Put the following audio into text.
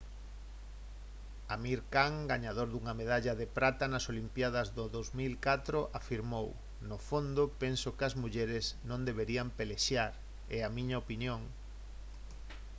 amir khan gañador dunha medalla de prata nas olimpíadas do 2004 afirmou: «no fondo penso que as mulleres non deberían pelexar. é a miña opinión»